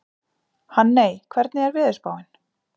Hanney, hvernig er veðurspáin?